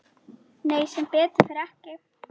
Nei sem betur fer ekki.